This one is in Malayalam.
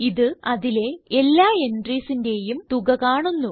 ഇത് അതിലെ എല്ലാ entriesന്റേയും തുക കാണുന്നു